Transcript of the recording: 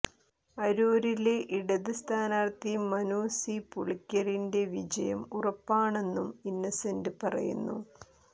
അരൂരില് ഇടത് സ്ഥാനാര്ഥി മനു സി പുളിക്കലിന്റെ വിജയം ഉറപ്പാണെന്നും ഇന്നസെന്റ് പറയുന്നു